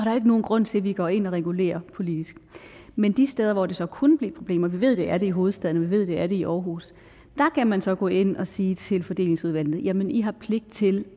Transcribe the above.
nogen grund til at vi går ind og regulerer politisk men de steder hvor der så kunne blive problemer vi ved at det er der i hovedstaden og vi ved at det er der i aarhus kan man så gå ind og sige til fordelingsudvalgene at de har pligt til det